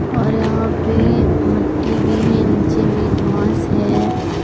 और यहां पे मट्टी भी है नीचे में घास है।